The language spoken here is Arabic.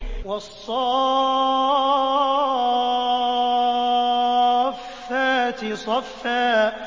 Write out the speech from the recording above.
وَالصَّافَّاتِ صَفًّا